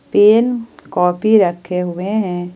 Pen copy रखे हुए हैं।